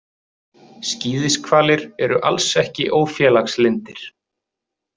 Skíðishvalir eru alls ekki ófélagslyndir.